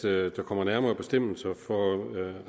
at der kommer nærmere bestemmelser for